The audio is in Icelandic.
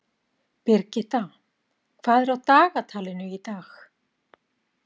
Birgitta, hvað er á dagatalinu í dag?